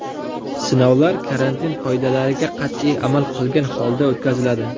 Sinovlar karantin qoidalariga qat’iy amal qilgan holda o‘tkaziladi.